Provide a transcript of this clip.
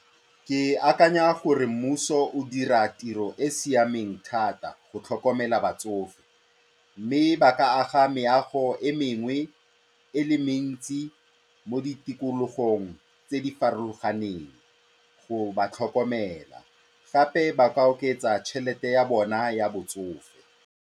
Ke akanya gore mmuso o dira tiro e e siameng thata go tlhokomela batsofe mme ba ka aga meago e mengwe e le mentsi mo ditikologong tse di farologaneng go ba tlhokomela, gape ba ka oketsa tšhelete ya bona ya botsofe.